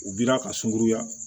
U bira ka sunkuruya